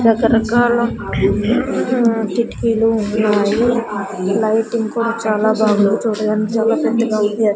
రకరకాల హుమ్ కిటికీలు ఉన్నాయి లైటింగ్ కూడా చాలా బాగుంది చూడడానికి చాలా పెద్దగా ఉంది.